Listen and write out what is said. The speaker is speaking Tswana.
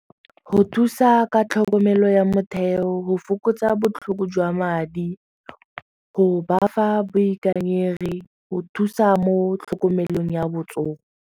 Go thusa ka tlhokomelo ya motheo, go fokotsa botlhoko jwa madi, go ba fa boikanyegi, go thusa mo tlhokomelong ya botsogo.